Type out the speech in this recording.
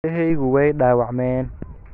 Indhahaygu way dhaawacmeen.